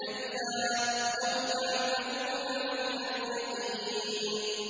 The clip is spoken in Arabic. كَلَّا لَوْ تَعْلَمُونَ عِلْمَ الْيَقِينِ